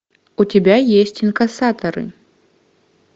у тебя есть инкассаторы